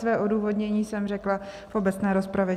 Své odůvodnění jsem řekla v obecné rozpravě.